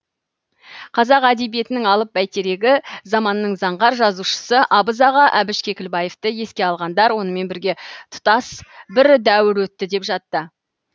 қазақ әдебиетінің алып бәйтерегі заманның заңғар жазушысы абыз аға әбіш кекілбаевты еске алғандар онымен бірге тұтас бір дәуір өтті деп жатты